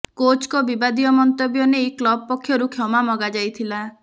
କୋଚଙ୍କ ବିବାଦୀୟ ମନ୍ତବ୍ୟ ନେଇ କ୍ଲବ ପକ୍ଷରୁ କ୍ଷମା ମଗା ଯାଇଥିଲା